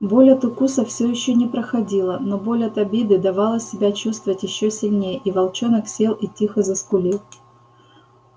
боль от укуса всё ещё не проходила но боль от обиды давала себя чувствовать ещё сильнее и волчонок сел и тихо заскулил